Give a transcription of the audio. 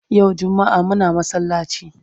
Yau jummaa Muna masallaci